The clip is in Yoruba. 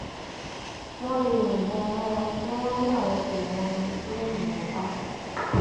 wọn lè yìnbọn mọ ọn kí wọn ní àwọn kò mọ ẹni tó yìnbọn pa á